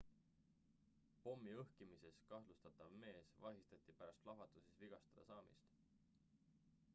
pommi õhkimises kahtlustatav mees vahistati pärast plahvatuses vigastada saamist